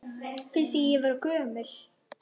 Finnst þér ég vera gömul?